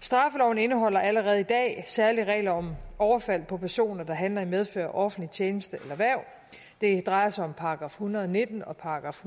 straffeloven indeholder allerede i dag særlige regler om overfald på personer der handler i medfør af offentlig tjeneste eller hverv det drejer sig om § en hundrede og nitten og §